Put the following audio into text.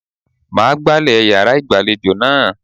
Màá gbálè yàrá ìgbàlejò náà.